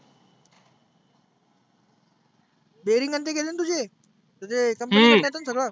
berring आणि ते गेलेना तुझे? तर ते company कडनं येतं ना सगळ.